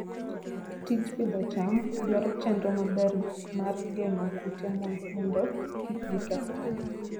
Tij pidho cham dwaro chenro maber mar geng'o kute mondo kik giketh cham.